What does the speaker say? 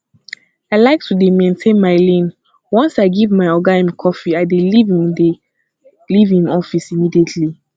i like to dey maintain my lane once i give my oga im coffee i dey leave im dey leave im office immediately